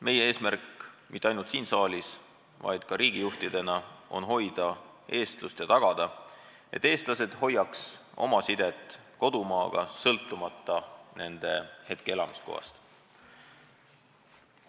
Meie eesmärk mitte ainult siin saalis, vaid ka riigijuhtidena on hoida eestlust ja tagada, et eestlased hoiaks oma sidet kodumaaga, sõltumata kohast, kus nad parajasti elavad.